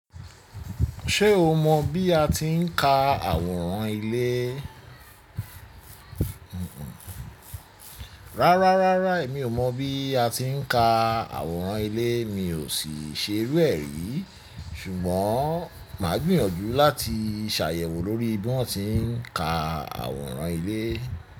Ṣé o mọ bí a ti ń ka àwòrán ilé? Rárá, rárá, emi ò mọ bí a ti ń ka àwòrán ilé, mi ò sì ṣe ru ẹ̀ rí. Ṣùgbọ́n màá gbìyànjú láti ṣàyẹ̀wò lórí bí wọ́n ti ń ka àwòrán ilé.